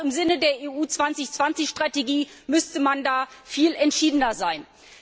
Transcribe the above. Auch im Sinne der EU 2020 Strategie müsste man da viel entschiedener vorgehen.